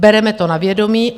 Bereme to na vědomí.